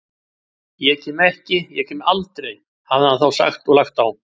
Ég kem ekki, ég kem aldrei, hafði hann þá sagt og lagt á.